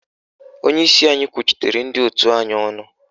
Onyeisi anyị kwuchitere ndị òtù anyị ọnụ